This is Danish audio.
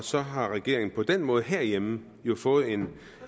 så har regeringen jo på den måde herhjemme fået en